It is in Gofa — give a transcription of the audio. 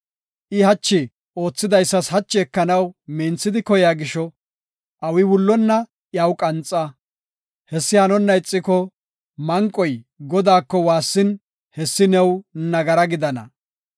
I hachi oothidaysa hachi ekanaw minthidi koyiya gisho, awi wullonna iyaw qanxa. Hessi hanonna ixiko, manqoy Godaako waassin hessi new nagara gidana.